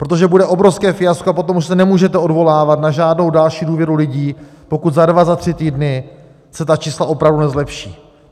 Protože bude obrovské fiasko, a potom už se nemůžete odvolávat na žádnou další důvěru lidí, pokud za dva, za tři týdny se ta čísla opravdu nezlepší.